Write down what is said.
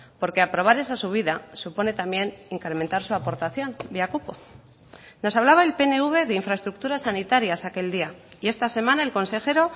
porque aprobar esa subida supone también incrementar su aportación vía cupo nos hablaba el pnv de infraestructuras sanitarias aquel día y esta semana el consejero